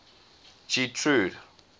getrude